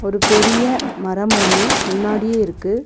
ஒரு பெரிய மரம் ஒன்னு முன்னாடியே இருக்கு.